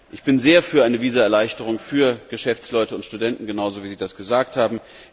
Ich bin sehr für eine Visaerleichterung für Geschäftsleute und Studenten, genau so, wie Sie das gesagt haben.